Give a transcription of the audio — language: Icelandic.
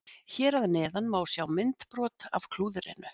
Hér að neðan má sjá myndbrot af klúðrinu.